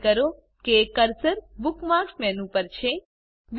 ખાતરી કરો કે કર્સર બુકમાર્ક્સ મેનુ પર છે